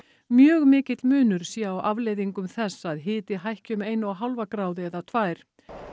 mjög mikill munur sé á afleiðingum þess að hiti hækki um eina og hálfa gráðu eða tvær